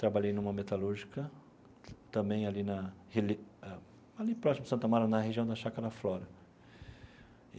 Trabalhei numa metalúrgica, também ali na reli ah... ali próximo de Santa Amaro, na região da Chácara Flora.